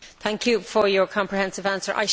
Thank you for your comprehensive answer.